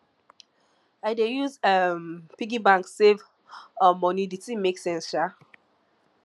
i dey use um piggy bank save um moni di tin make sense um